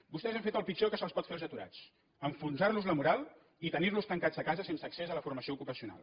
vostès han fet el pitjor que se’ls pot fer als aturats enfonsar los la moral i tenir los tancats a casa sense accés a la formació ocupacional